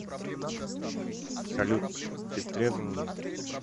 салют ты в трезвом уме